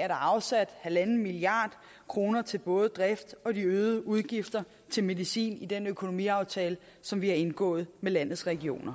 er der afsat en milliard kroner til både drift og de øgede udgifter til medicin i den økonomiaftale som vi har indgået med landets regioner